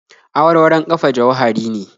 Awarwaron ƙafa jauhari ne